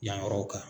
Yan yɔrɔw kan